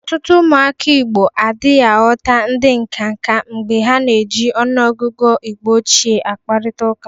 Ọtụtụ ụmụaka Igbo adịghị aghọta ndị nkanka mgbe ha na-eji ọnụọgụgụ Igbo ochie akparịtaụka.